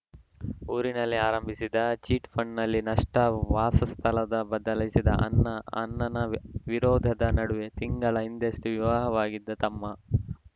ಊರಿನಲ್ಲಿ ಆರಂಭಿಸಿದ್ದ ಚಿಟ್‌ಫಂಡ್‌ನಲ್ಲಿ ನಷ್ಟ ವಾಸ ಸ್ಥಳದ ಬದಲಿಸಿದ ಅನ್ನ ಅನ್ನನ ವಿರೋಧದ ನಡುವೆ ತಿಂಗಳ ಹಿಂದಷ್ಟೇ ವಿವಾಹವಾಗಿದ್ದ ತಮ್ಮ